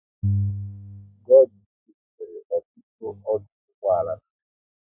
God is Good nwere ọtụtụ ọdụ ụgbọala n'Naijiria